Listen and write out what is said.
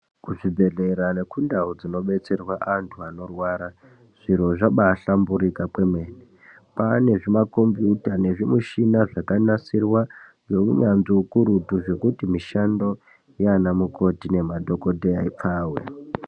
Kuzvibhedhlera nekundau dzinodetserwa vandu vanorwara zviro zvambaihlamburika kwemene kwanezvi makombiyuta nezvimuchina zvekanasirwa ngeunyanzvi ukurutu zvekuti mushando yanamukoti nema dhokotera ipfave